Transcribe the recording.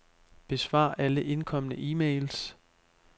Besvar alle indkomne e-mails.